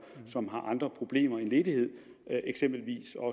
som har andre problemer end ledighed eksempelvis